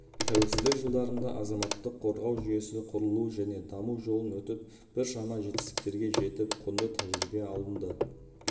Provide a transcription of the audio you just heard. тәуелсіздік жылдарында азаматтық қорғау жүйесі құрылу және даму жолын өтіп біршама жетістіктерге жетіп құнды тәжірибе алынды